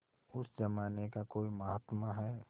उस जमाने का कोई महात्मा है